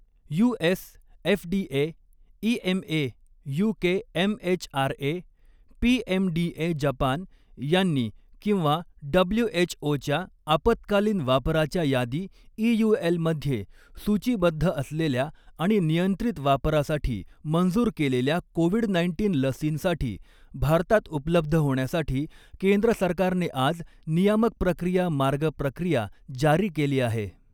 US FDA, EMA, UK MHRA, PMDA Japan यांनी किंवा डब्ल्यूएचओच्या आपत्कालीन वापराच्या यादी ईयूएल मध्ये सूचीबद्ध असलेल्या आणि नियंत्रित वापरासाठी मंजूर केलेल्या कोविड नाईन्टीन लसींसाठी भारतात उपलब्ध होण्यासाठी केंद्र सरकारने आज नियामक प्रक्रिया मार्ग प्रक्रिया जारी केली आहे.